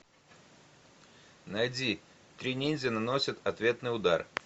найди три ниндзя наносят ответный удар